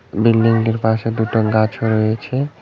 Building -টির পাশে দুটো গাছও রয়েছে।